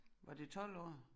Var det 12 år